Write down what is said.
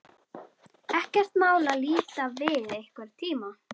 Ekkert mál að líta við einhvern tíma.